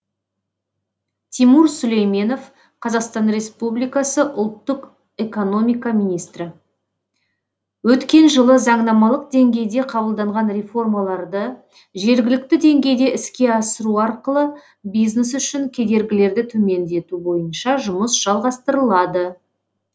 тимур сүлейменов қазақстан республикасы ұлттық экономика министрі өткен жылы заңнамалық деңгейде қабылданған реформаларды жергілікті деңгейде іске асыру арқылы бизнес үшін кедергілерді төмендету бойынша жұмыс жалғастырылады